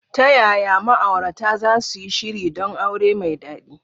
Ta yaya ma’aurata za su yi shiri don aure mai daɗi?